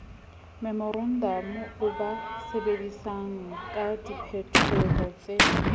memorantamo o ba tsebisangka diphetohotse